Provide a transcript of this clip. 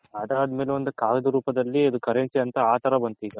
ಅದದ್ಮೇಲೆ ಒಂದು ಕಾಗದ ರೂಪದಲ್ಲಿ currency ಅಂತ ಆ ತರ ಬಂತು